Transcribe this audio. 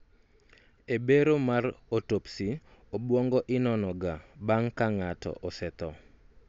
e bero mar autopsy, obwongo inono ga bang' ka ng'ato osetho